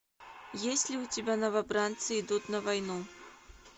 есть ли у тебя новобранцы идут на войну